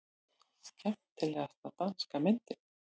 Skemmtilegasta danska myndin